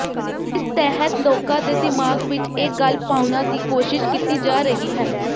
ਜਿਸ ਤਹਿਤ ਲੋਕਾਂ ਦੇ ਦਿਮਾਗ ਵਿਚ ਇਹ ਗੱਲ ਪਾਉਣਾ ਦੀ ਕੋਸ਼ਿਸ਼ ਕੀਤੀ ਜਾ ਰਹੀ ਹੈ